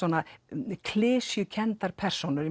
mjög klisjukenndar persónur